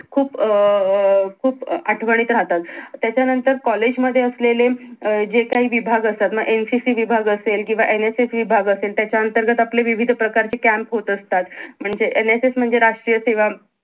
खूप अं खूप आठवणीत राहतात त्याच्या नंतर कॉलेज मध्ये असलेल अं जे काही विभाग असतात मग NCC विभाग असेल किंवा NSS विभाग असेल त्याच्या अंतर्गत आपले विविध प्रकार चे Camp होत असतात म्हणजे NSS म्हणजे राष्ट्रीय सेवा